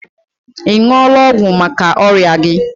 Ị ṅụọla ọgwụ maka ọrịa gi?